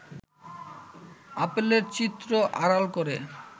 আপেলের চিত্র আড়াল করে